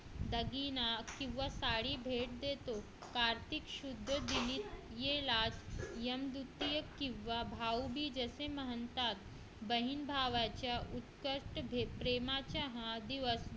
दागिना किंवा साडी भेट देतो कार्तिक शुद्ध किंवा भाऊबीज असे म्हणतात बहिण भावाच्या उत्कृष्ट भेट प्रेमाच्या हा दिवस